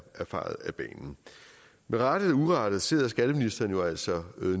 fejet af banen med rette eller urette sidder skatteministeren altså